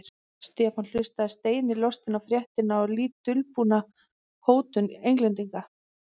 Stefán hlustaði steini lostinn á fréttina og lítt dulbúna hótun Englendinga.